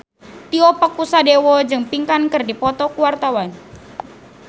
Tio Pakusadewo jeung Pink keur dipoto ku wartawan